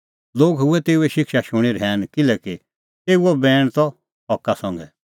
लोग हुऐ तेऊए शिक्षा शूणीं रहैन किल्हैकि तेऊओ बैण त हका संघै